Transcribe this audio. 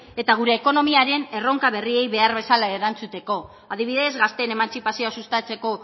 eta gure ekonomiaren erronka berriei behar bezala erantzuteko adibidez gazteen emantzipazioa sustatzeko